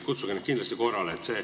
Kutsuge neid kindlasti korrale.